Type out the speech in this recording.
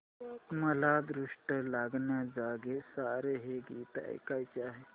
मला दृष्ट लागण्याजोगे सारे हे गीत ऐकायचे आहे